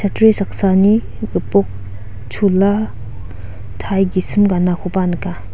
saksani gipok chola tai gisim ganakoba nika.